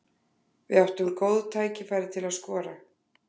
Við áttum góð tækifæri til að skora.